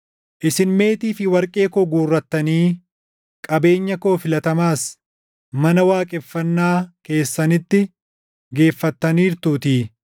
Isin meetii fi warqee koo guurrattanii qabeenya koo filatamaas mana waaqeffannaa keessanitti geeffattaniirtuutii.